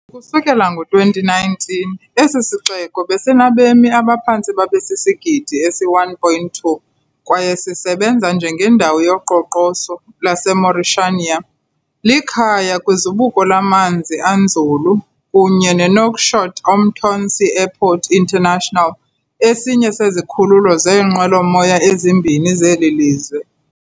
Ukusukela ngo-2019, esi sixeko besinabemi abaphantse babe sisigidi esi-1.2 kwaye sisebenza njengendawo yoqoqosho lwaseMauritania. Likhaya kwizibuko lamanzi anzulu kunye neNouakchott-Oumtounsy Airport International, esinye sezikhululo zeenqwelomoya ezimbini zeli lizwe.